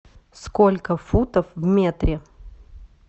сколько футов в метре